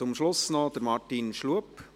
Zum Schluss noch Martin Schlup.